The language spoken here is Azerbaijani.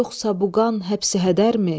Yoxsa bu qan həbsi hədərmi?